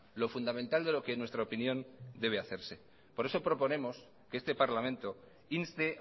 lo fundamental de lo que en nuestra opinión debe hacerse por eso proponemos que este parlamento inste